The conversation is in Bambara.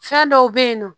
Fɛn dɔw bɛ yen nɔ